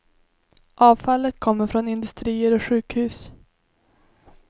Avfallet kommer från industrier och sjukhus.